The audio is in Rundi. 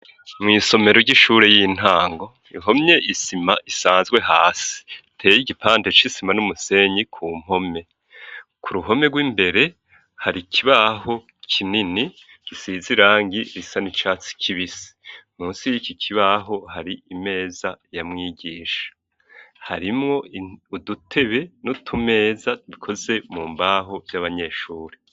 Mw'isomero ry'ishuri y'intango ihomye isima isanzwe hasi, iteye igipande c'isima n'umusenyi ku mpome. Ku ruhome rw'imbere, hari ikibaho kinini gisize irangi risa n'icatsi kibisi. Munsi y'iki kibaho hari imeza ya mwigisha. Harimwo udutebe n'utumeza bikoze mu mbaho vy'abanyeshuri.